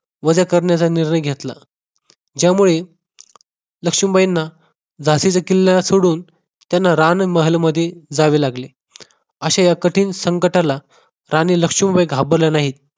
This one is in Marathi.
वजा करण्याचा निर्णय घेतला ज्यामुळे लक्ष्मीबाईंना झाशीच्या किल्ल्याला सोडून त्यांना रान महल मध्ये जावे लागले अशा या कठीण संकटाला राणी लक्ष्मीबाई घाबरल्या नाही